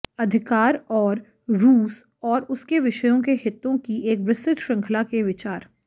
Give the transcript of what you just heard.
अधिकार और रूस और उसके विषयों के हितों की एक विस्तृत श्रृंखला के विचार